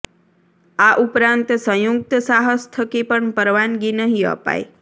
આ ઉપરાંત સંયુક્ત સાહસ થકી પણ પરવાનગી નહીં અપાય